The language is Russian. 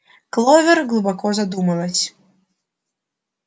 кловер глубоко задумалась